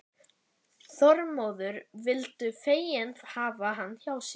Þormóður vildu fegin hafa hann hjá sér.